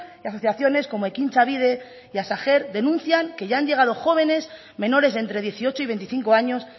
y asociaciones como ekintza bibe y hasta hacer denuncian que ya han llegado jóvenes menores de entre dieciocho y veinticinco años